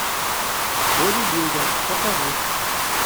бодибилдер покажи